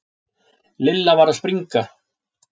Lilla var að springa.